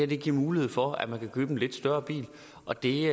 giver mulighed for at man kan købe en lidt større bil og det